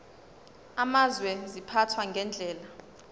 amazwe ziphathwa ngendlela